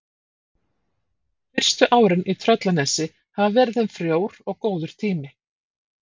Fyrstu árin í Tröllanesi hafa verið þeim frjór og góður tími.